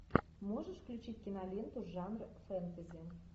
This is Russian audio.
можешь включить киноленту жанр фэнтези